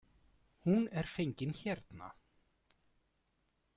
Hún er fengin hérna.